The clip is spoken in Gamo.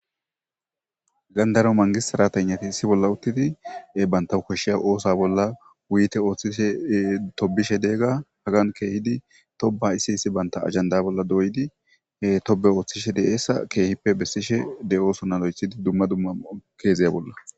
Haysan daro mangist sirateyinati issi bolla utidi bantawu koshiza osa bolla wuyiyite oothishe ,tobishe , iza hagani keehidi toba issi issi Bata banta ajanda bolla doyidi Tobe oothishe de'oysa keehippe besosona lo'ethidi, dumma dumma casiya bolla.